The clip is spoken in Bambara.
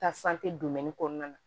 kɔnɔna na